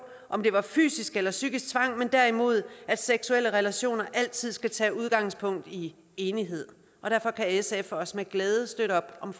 om det var fysisk eller psykisk tvang men derimod at seksuelle relationer altid skal tage udgangspunkt i enighed og derfor kan sf også med glæde støtte op om